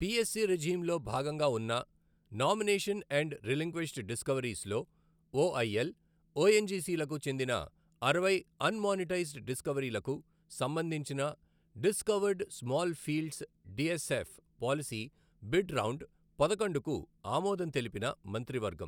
PSC regime లో భాగంగా ఉన్న నామినేషన్ అండ్ రిలింక్విష్డ్ డిస్కవరీస్ లో ఒఐఎల్, ఒఎన్జిసి లకు చెందిన అరవై అన్ మానిటైజ్డ్ డిస్కవరీలకు సంబంధించిన discovered small fields DSF policy bid round పదకొండుకు ఆమోదం తెలిపిన మంత్రివర్గం.